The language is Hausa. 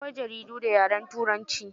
Akwai jaridu da yaren turanci.